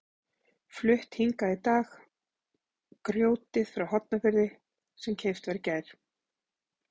Flutt hingað í dag grjótið frá Hornafirði sem keypt var í gær.